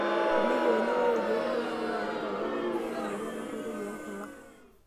Teneyieuni, ore ilkeek lemion naa keitadoyio emion emoyian enkoitoi oonkulak.